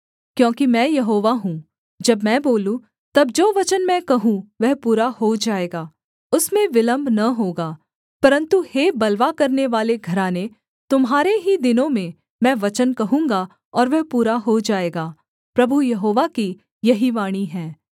क्योंकि मैं यहोवा हूँ जब मैं बोलूँ तब जो वचन मैं कहूँ वह पूरा हो जाएगा उसमें विलम्ब न होगा परन्तु हे बलवा करनेवाले घराने तुम्हारे ही दिनों में मैं वचन कहूँगा और वह पूरा हो जाएगा प्रभु यहोवा की यही वाणी है